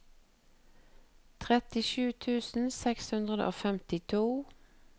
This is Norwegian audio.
trettisju tusen seks hundre og femtito